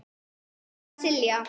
Þín, Silja.